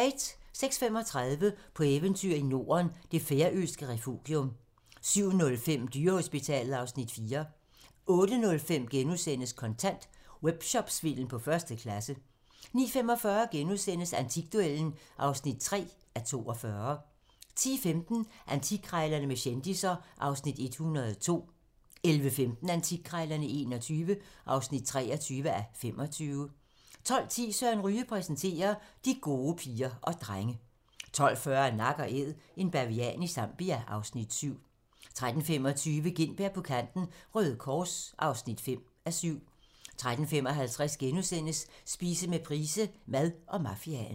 06:35: På eventyr i Norden - det færøske refugium 07:05: Dyrehospitalet (Afs. 4) 08:05: Kontant: Webshopsvindel på første klasse * 09:45: Antikduellen (3:42)* 10:15: Antikkrejlerne med kendisser (Afs. 102) 11:15: Antikkrejlerne XXI (23:25) 12:10: Søren Ryge præsenterer - De gode piger og drenge 12:40: Nak & Æd - en bavian i Zambia (Afs. 7) 13:25: Gintberg på kanten – Røde Kors (5:7) 13:55: Spise med Price - Mad og mafiaen *